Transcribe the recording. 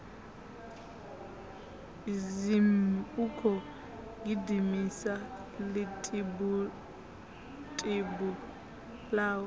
zhimmm ukhou gidimisa ḽitibutibu ḽawe